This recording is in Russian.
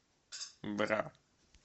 бра